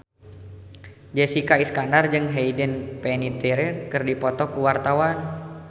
Jessica Iskandar jeung Hayden Panettiere keur dipoto ku wartawan